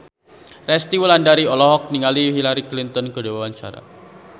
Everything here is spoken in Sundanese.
Resty Wulandari olohok ningali Hillary Clinton keur diwawancara